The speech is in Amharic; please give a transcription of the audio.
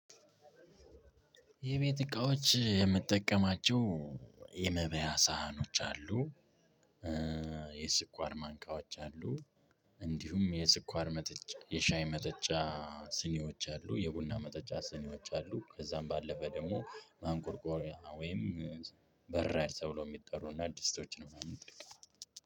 የቤት እቃዎች የምትጠቀማቸው የመብያ ሳህኖች አሉ። የስኳር ማንኪያዎች አሉ። እንዲሁም የስኳር መጠጫ የሻይ መጠጫ ስኒዎች አሉ። የቡና መጠጫ ስኒዎች አሉ። ከዛም ባለፈ ደግሞ ማንቆርቆሪያ ወይም በራድ ተብሎ የሚጠሩ እና ድስቶችን ምናምን እጠቀማለሁ።